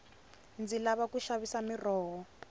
ndzi lava ku xavisa miroho